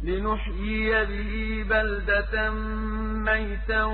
لِّنُحْيِيَ بِهِ بَلْدَةً مَّيْتًا